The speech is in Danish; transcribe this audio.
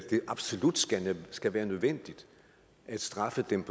absolut skal skal være nødvendigt at straffe dem